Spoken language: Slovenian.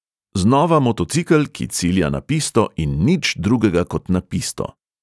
Znova motocikel, ki cilja na pisto in nič drugega kot na pisto.